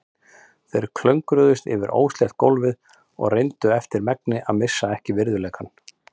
Þeir klöngruðust yfir óslétt gólfið og reyndu eftir megni að missa ekki virðuleikann.